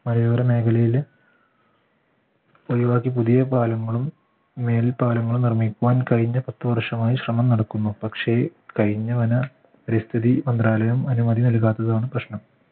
മലയോര മേഖലയിലും ഒഴിവാക്കി പുതിയ പാലങ്ങളും മേൽ പാലങ്ങളും നിർമ്മിക്കാൻ കഴിഞ്ഞ പത്ത് വർഷമായി ശ്രമം നടക്കുന്നു പക്ഷേ കഴിഞ്ഞവന പരിസ്ഥിതി മന്ത്രാലയം അനുമതി നൽകാത്തതാണ് പ്രശ്നം